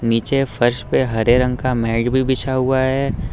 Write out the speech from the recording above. नीचे फर्श पे हरे रंग का मैट भी बिछा हुआ है।